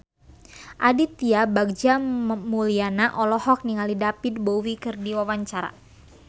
Aditya Bagja Mulyana olohok ningali David Bowie keur diwawancara